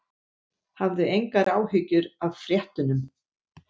Hafðu engar áhyggjur af fréttunum.